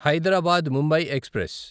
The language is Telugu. హైదరాబాద్ ముంబై ఎక్స్ప్రెస్